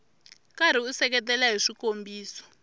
karhi u seketela hi swikombiso